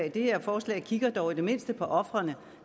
i det her forslag kigger man dog i det mindste på ofrene